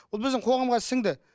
ол біздің қоғамға сіңді